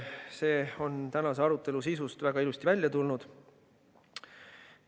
See on tänase arutelu sisust väga ilusti välja tulnud.